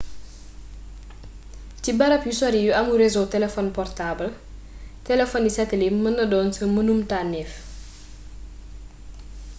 ci barab yu sori yu amul réseau telefon portaabal telefony satelit mën naa doon sa mennum tànnéef